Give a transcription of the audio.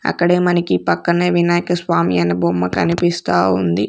అక్కడే మనకి పక్కనే వినాయక స్వామి అనే బొమ్మ కనిపిస్తా ఉంది.